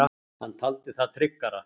Hann taldi það tryggara.